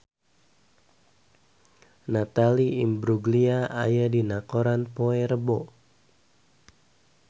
Natalie Imbruglia aya dina koran poe Rebo